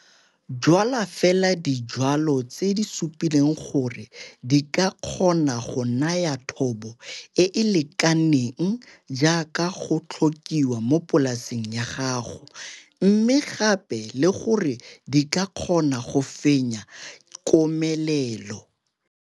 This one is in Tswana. Jwala fela dijwalwa tse di supileng gore di ka kgona go naya thobo e e lekaneng jaaka go tlhokiwa mo polaseng ya gago mme gape le gore di ka kgona go fenya komelelo.